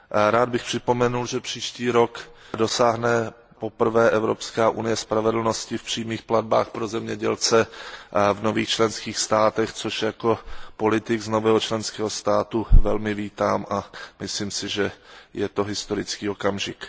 Rád bych připomněl, že příští rok dosáhne poprvé Evropská unie spravedlnosti v přímých platbách pro zemědělce v nových členských státech, což jako politik z nového členského státu velmi vítám, a myslím si, že je to historický okamžik.